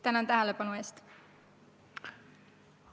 Tänan tähelepanu eest!